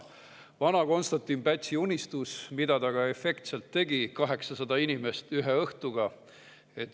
Vana Konstantin Pätsi unistus, mida ta ka efektselt tegi: 800 inimest ühe õhtuga.